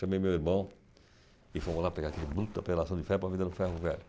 Chamei meu irmão e fomos lá pegar aquele bruta pedação de ferro para vender no ferro-velho.